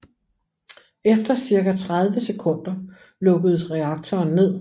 Efter cirka 30 sekunder lukkedes reaktoren ned